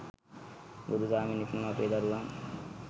බුදු දහමින් හික්මුණු අපේ දරුවන්